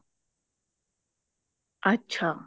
ਅੱਛਾ